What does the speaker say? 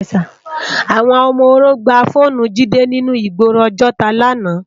Awòn òmò óró gbá fónù Jide ninú igbóró Ojota làná